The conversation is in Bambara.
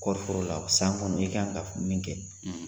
Kɔɔri foro la ,san kɔnɔ i ka kan ka fɔ min kɛ,